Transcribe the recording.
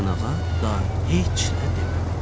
Həsənağa day heç nə demədi.